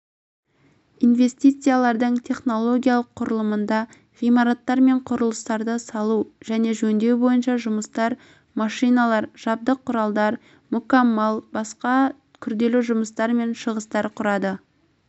инвестициялардың технологиялық құрылымында ғимараттар мен құрылыстарды салу және жөндеу бойынша жұмыстар машиналар жабдық құралдар мүкаммал басқа күрделі жұмыстар мен шығыстар құрады